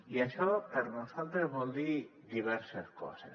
i això per nosaltres vol dir diverses coses